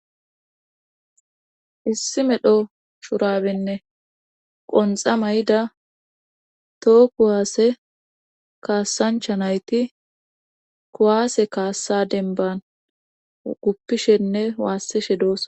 issi medho shurabenne qonxa may7ida too kuwaasse kaassancha nayti kuwaase kaassa denban guppishenne waassishe doos